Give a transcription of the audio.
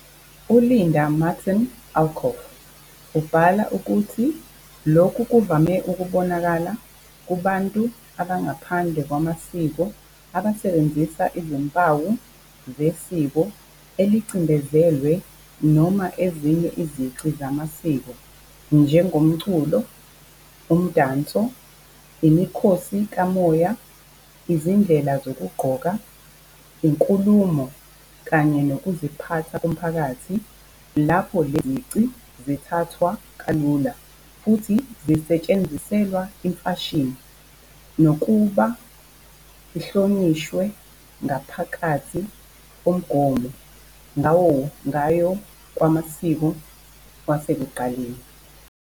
U-Linda Martín Alcoff ubhala ukuthi lokhu kuvame ukubonakala kubantu abangaphandle kwamasiko abasebenzisa izimpawu zesiko elicindezelwe noma ezinye izici zamasiko, njengomculo, umdanso, imikhosi kamoya, izindlela zokugqoka, inkulumo, kanye nokuziphatha komphakathi lapho lezi zici zithathwa kalula futhi zisetshenziselwa imfashini, kunokuba ihlonishwe ngaphakathi komongo wayo wamasiko wasekuqaleni.